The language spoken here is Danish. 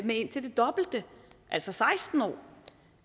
med indtil det dobbelte altså seksten år